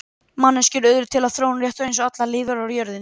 Manneskjur urðu til við þróun rétt eins og allar aðrar lífverur á jörðinni.